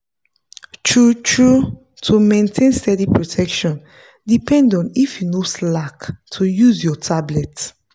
true-true to maintain steady protection depend on if you no slack to use your tablet.